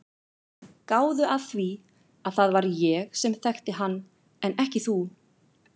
Gáðu að því að það var ég sem þekkti hann en ekki þú.